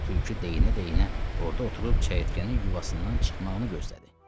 Tülkü deyinə-deyinə orda oturub çəyirtkənin yuvasından çıxmağını gözlədi.